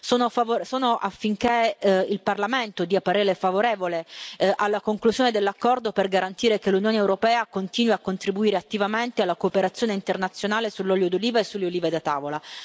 Sono favorevole affinché il Parlamento dia parere favorevole alla conclusione dell'accordo, per garantire che l'Unione europea continui a contribuire attivamente alla cooperazione internazionale sull'olio d'oliva e sulle olive da tavola.